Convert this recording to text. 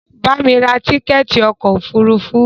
Bamí ra tíkẹ̀ẹ̀ti ọkò òfurufú!